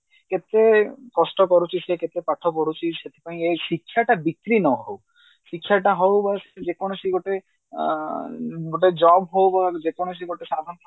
କେତେ କଷ୍ଟ କରୁଛି ସେ କେତେ ପାଠ ପଢୁଛି ସେଥିପାଇଁ ଶିକ୍ଷାଟା ବିକ୍ରି ନହଉ ଶିକ୍ଷା ଟା ହଉ ବା ଯେ କୌଣସି ଗୋଟେ ଅ ଗୋଟେ job ହଉ ବା ଯେ କୌଣସି ଗୋଟେ